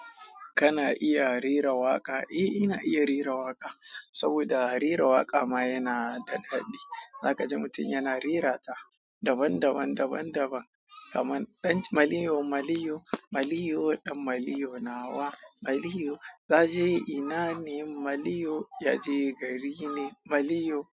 Kana iya rera waƙa? Eh, ina iya rera waƙa. Saboda rera waƙa ma yana da daɗi. Zaka ji mutum yana rera ta daban daban, daban-daban. Kaman ɗan maliyo, maliyo, maliyo, ɗan maliyo nawa. Maliyo yaje ina ne? Maliyo yaje gari ne. Maliyo.